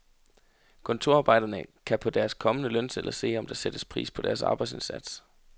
Kontorarbejderne kan på deres kommende lønsedler se, om der sættes pris på deres arbejdsindsats.